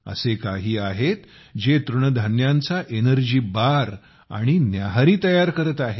असे काही आहेत जे तृणधान्यांचा एनर्जी बार आणि नाश्ता तयार करत आहेत